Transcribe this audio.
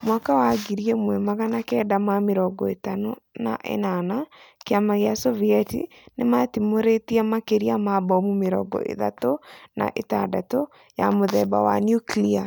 Mwaka wa ngiri ĩmwe magana kenda ma mĩrongo ĩtano na ĩnana, kiama kĩa Sovieti nimatimũritie makĩria ma bomu mĩrongo ĩthatũ na ĩtandatũ ya mũthemba wa nuklia